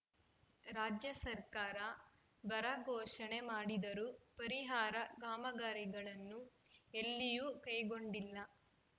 ರಾಜ್ಯ ಸರ್ಕಾರ ಬರ ಘೋಷಣೆ ಮಾಡಿದರೂ ಪರಿಹಾರ ಕಾಮಗಾರಿಗಳನ್ನು ಎಲ್ಲಿಯೂ ಕೈಗೊಂಡಿಲ್ಲ